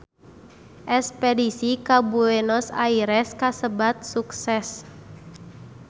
Espedisi ka Buenos Aires kasebat sukses